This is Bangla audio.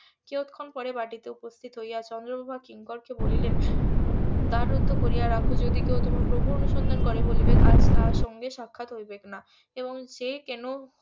কিয়ৎক্ষণ পর বাটিতে উপস্থিত হইয়া চন্দ্রপ্রভা কিঙ্করকে বলিলেন দ্বার রুদ্ধ করিয়া রাখো যদি কেউ তোমার প্রভুর অনুসন্ধান করে বলিবে আজ তার সঙ্গে সাক্ষাৎ হইবেক না এবং যে কেন